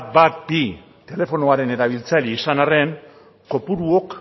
ehun eta hamabi telefonoaren erabiltzaile izan arren kopuruok